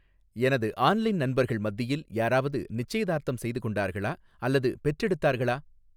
எனது ஆன்லைன் நண்பர்கள் மத்தியில் யாராவது நிச்சயதார்த்தம் செய்து கொண்டார்களா அல்லது பெற்றெடுத்தார்களா